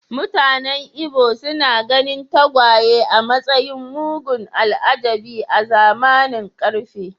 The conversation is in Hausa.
Mutanen Ibo suna ganin tagwaye a matsayin mugun al’ajabi a zamanin ƙarfe.